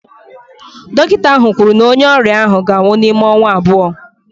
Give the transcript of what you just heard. Dọkịta ahụ kwuru na onye ọrịa ahụ ga-anwụ n'ime ọnwa abụọ